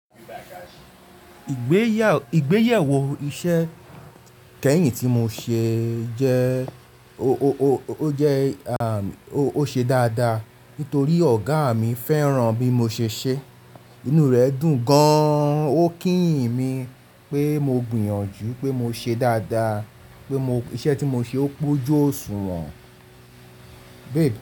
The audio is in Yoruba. Igbéyàwó iṣẹ́ kẹ́yìn tí mo ṣe jẹ́, ó jẹ́, a, ó ṣe dáadáa nítorí ọ̀gá mi fẹ́ràn bí mo ṣe ṣẹ́. Inú rẹ̀ dùn gan-an. Ó kíyìn mi pé mo gbìyànjú pé mo ṣe dáadáa, pé iṣẹ́ tí mo ṣe ó pọ̀jù òṣùwọ̀n.